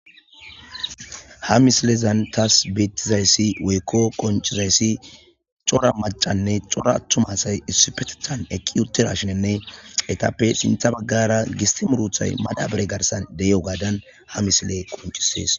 Ha misilezan taas beettizayssi weykko qoncizayssi cora macanne cora attum asay issipeethan ekki uttera shenenne etappe sintha baggara gisti muruthay madabre garsan de'i'o gaadan ha misile qoncisees.